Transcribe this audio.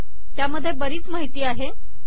त्यामध्ये बरीच माहिती आहे